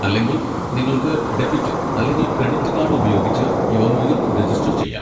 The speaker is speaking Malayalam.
അല്ലെങ്കിൽ, നിങ്ങൾക്ക് ഡെബിറ്റ് അല്ലെങ്കിൽ ക്രെഡിറ്റ് കാഡ് ഉപയോഗിച്ച് യോനോയിൽ രജിസ്റ്റർ ചെയ്യാം.